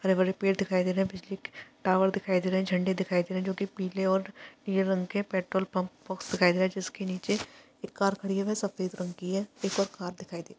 हरे -भरे पेड़ दिखाई दे रहे है बिजली के टावर दिखाई दे रहे है झंडे दिखाई दे रहे है जोकि पीले और नीले रंग के पेट्रोल पंप साइड है जिसकी नीचे एक कार खड़ी हुई है सफ़ेद रंग की है एक और कार दिखाई दे रही हैं ।